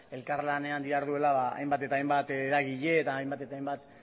elkarlanean diharduela hainbat eta hainbat eragile eta hainbat eta hainbat